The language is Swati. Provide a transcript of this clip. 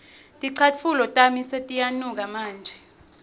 ticatfulo tami setiyanuka manje